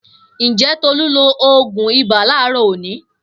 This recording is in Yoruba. Njẹ̀ Tolu n lo oogun ibà laarọ òni?